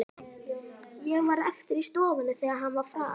Ég varð eftir í stofunni, þegar hann var farinn.